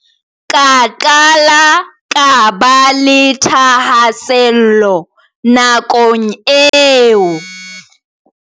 Ka qala ka ba le thahasello nakong eo, ho bolela Malinga.